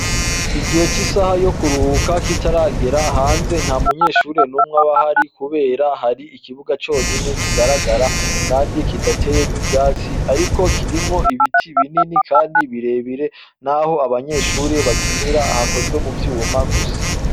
Igihe c'isaha yo kuruhuka kitaragera hanze nta munyeshuri numwe aba ahari kubera hari ikibuga conyene kigaragara kandi kidateyemwo ivyatsi ariko kirimwo ibiti binini kandi birebire n'aho abanyeshure bakinira hakozwe mu vyuma gusa.